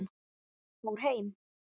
Fór heim?